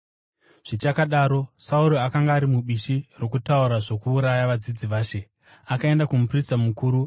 Zvichakadaro Sauro akanga ari mubishi rokutaura zvokuuraya vadzidzi vaShe. Akaenda kumuprista mukuru